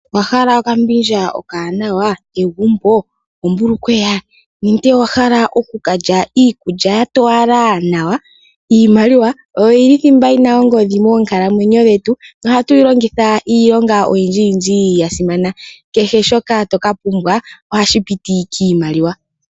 Owa hala okambindja okawanawa, egumbo, ombulukweya nenge owa hala oku ka lya iikulya ya towala nawa? Iimaliwa oyo yi li thimba yi na ongodhi moonkalamwenyo dhetu nohatu yi longitha iilonga oyindjiyindji ya simana. Kehe shoka to ka pumbwa ohashi piti kiimaliwa.